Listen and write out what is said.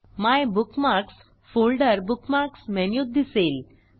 my bookmarks folder bookmarks मेनूत दिसेल